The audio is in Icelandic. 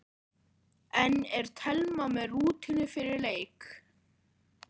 En er Telma með rútínu fyrir leik?